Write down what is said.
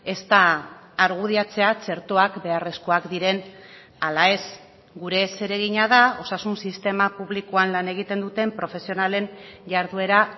ezta argudiatzea txertoak beharrezkoak diren ala ez gure zeregina da osasun sistema publikoan lan egiten duten profesionalen jarduera